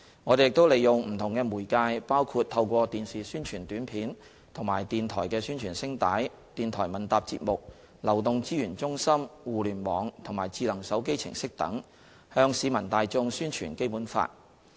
我們亦利用不同的媒介，包括透過電視宣傳短片及電台宣傳聲帶、電台問答節目、流動資源中心、互聯網及智能手機程式等，向市民大眾宣傳《基本法》。